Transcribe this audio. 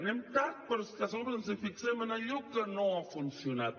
anem tard però és que a sobre ens fixem en allò que no ha funcionat